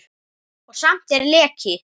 Og samt er leki.